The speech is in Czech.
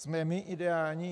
Jsme my ideální?